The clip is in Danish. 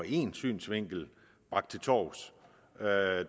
én synsvinkel til torvs vælger at